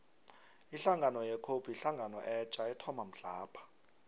ihlangano ye cope yihlangano etja ethoma mhlapha